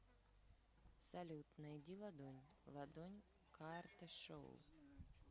салют найди ладонь ладонь карташоу